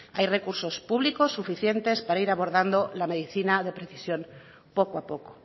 hay recursos públicos suficientes para ir abordando la medicina de precisión poco a poco